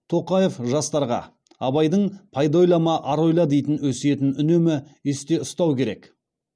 тоқаев жастарға абайдың пайда ойлама ар ойла дейтін өсиетін үнемі есте ұстау керек